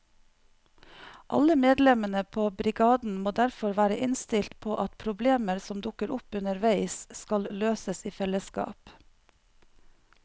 Alle medlemmene på brigaden må derfor være innstilt på at problemer som dukker opp underveis skal løses i fellesskap.